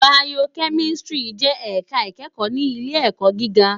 Bàyókèmìsítìrí jè èká ikèékò ni ilé èkò gigá